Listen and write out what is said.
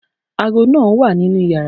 aago máà ń wà ninú yàrá